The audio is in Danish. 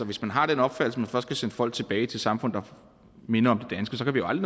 hvis man har den opfattelse først skal sende folk tilbage til samfund der minder